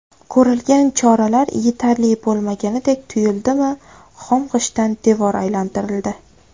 Ko‘rilgan choralar yetarli bo‘lmagandek tuyuldimi, xom g‘ishtdan devor aylantirildi.